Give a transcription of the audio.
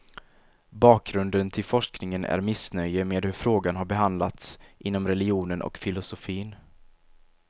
Bakgrunden till forskningen är missnöje med hur frågan har behandlats inom religionen och filosofin.